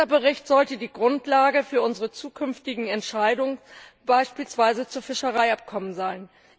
Dieser Bericht sollte die Grundlage für unsere zukünftigen Entscheidungen beispielsweise zu Fischereiabkommen sein.